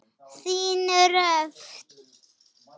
Þín Dröfn.